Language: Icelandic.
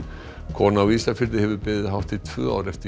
kona á Ísafirði hefur beðið hátt í tvö ár eftir